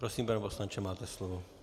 Prosím, pane poslanče, máte slovo.